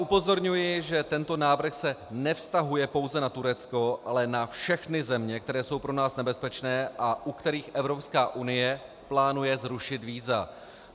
Upozorňuji, že tento návrh se nevztahuje pouze na Turecko, ale na všechny země, které jsou pro nás nebezpečné a u kterých Evropská unie plánuje zrušit víza.